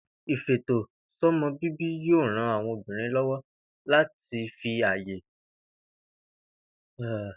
Ìfètòsó̩mo̩-bíbí yóò ran àwo̩n obìnrin ló̩wó̩ láti lè fi àyè tó tó sáàárín àwo̩n o̩mo̩ wo̩n